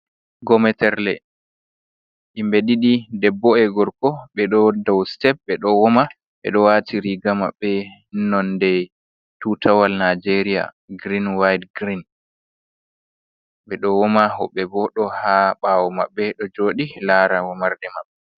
Gometerla, himɓe ɗiɗi debbo’e gorko ɓeɗo dau sitep be do woman, ɓeɗo wati riga mabɓe nonde tutawal nijeria giren waɗe giren. Ɓ edo woma, woɓe bo do ha ɓawo maɓɓe do jodi lara womarde maɓɓe.